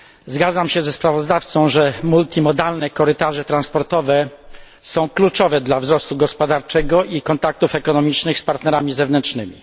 Zgadzam się ze sprawozdawcą, że multimodalne korytarze transportowe są kluczowe dla wzrostu gospodarczego i kontaktów ekonomicznych z partnerami zewnętrznymi.